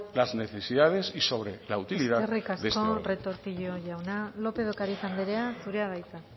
las necesidades y sobre la utilidad de este órgano eskerrik asko retortillo jauna lópez de ocariz andrea zurea da hitza